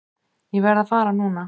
Ég verð að fara núna!